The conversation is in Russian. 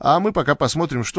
а мы пока посмотрим что